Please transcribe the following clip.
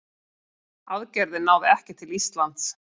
Aðgerðin náði ekki til Íslands.